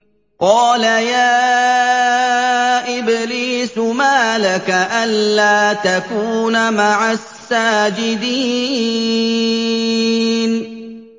قَالَ يَا إِبْلِيسُ مَا لَكَ أَلَّا تَكُونَ مَعَ السَّاجِدِينَ